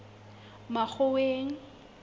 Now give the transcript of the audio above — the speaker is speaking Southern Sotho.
makgoweng